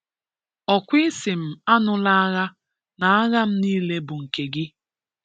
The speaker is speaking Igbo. Ókwá Ị sị m ánùlá ághà na ághàm nịle bụ nke gị